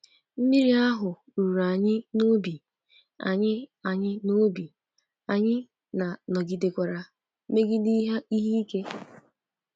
Mmiri ahụ ruru anyị n’obi, anyị anyị n’obi, anyị na nọgidekwara megide ihe ike.